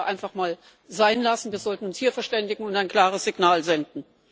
Das sollten wir einfach mal sein lassen, wir sollten uns hier verständigen und ein klares Signal senden.